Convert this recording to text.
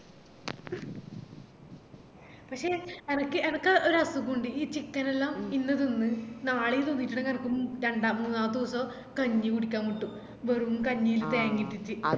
പക്ഷെ എനക്ക് എനക്ക് ഒരസുഗുണ്ട് ഈ chicken നെല്ലം ഇന്ന് തിന്ന് നാളേം തിന്നിട്ടുണ്ടെങ്കില് എനക്ക് രണ്ടാമത് മൂന്നാമത്തെ ദിവസം കഞ്ഞി കുടിക്കാൻ മുട്ടും വെറും കഞ്ഞില് തേങ്ങ ഇട്ടിറ്റ്